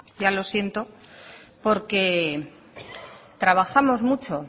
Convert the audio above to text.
ya lo siento porque trabajamos mucho